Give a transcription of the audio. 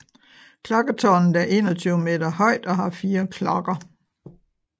Klokketårnet er 21 meter højt og har fire klokker